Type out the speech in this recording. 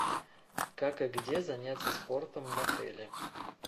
как и где заняться спортом в отеле